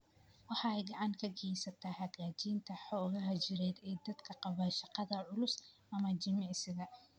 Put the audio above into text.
Waxay gacan ka geysataa hagaajinta xoogga jireed ee dadka qaba shaqada culus ama jimicsiga.